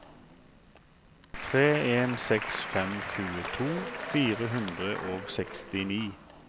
tre en seks fem tjueto fire hundre og sekstini